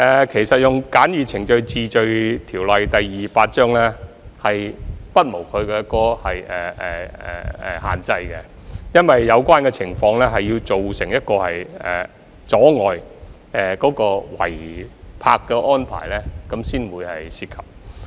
其實，引用《簡易程序治罪條例》不無限制，有關情況要造成阻礙、構成違泊才可引用這項條例。